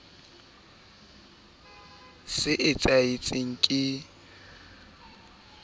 e ke ke ya ba